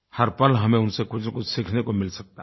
हर पल हमें उनसे कुछनकुछ सीखने को मिल सकता है